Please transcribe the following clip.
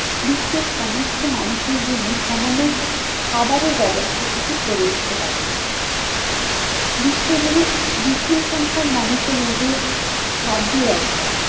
বিশ্বের সমস্ত মানুষের জন্য সামান্য খাবারের ব্যবস্থা টুকু করে উঠতে পারেনি। বিশ্বজুড়ে বিপুল সংখ্যক মানুষের এই যে খাদ্যর অভাব,